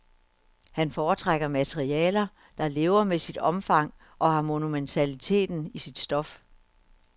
Han foretrækker materialer, der lever med sit omfang og har monumentaliteten i sit stof.